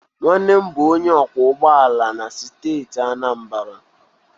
Nwannem bu onye ọkwọ ụgbọ ala na steeti Anambra.